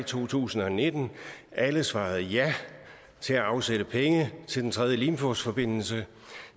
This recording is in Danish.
to tusind og nitten alle svarede ja til at afsætte penge til den tredje limfjordsforbindelse